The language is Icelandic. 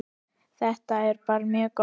Þetta er bara mjög gott.